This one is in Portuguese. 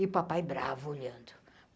E o papai bravo olhando.